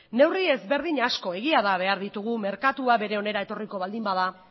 neurri ezberdin asko behar ditugu merkatua bere onera etorriko baldin bada